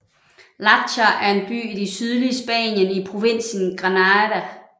Láchar er en by i det sydlige Spanien i provinsen Granada